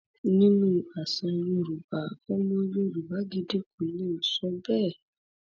nínú àṣà yorùbá ọmọ yorùbá gidi kò lè sọ bẹẹ